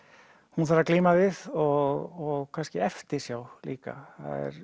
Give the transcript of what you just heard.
hún þarf að glíma við og kannski eftirsjá líka